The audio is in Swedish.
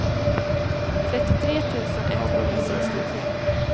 trettiotre tusen etthundrasextiotre